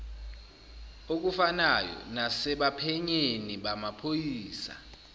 okufanayo nasebaphenyini bamaphoyisa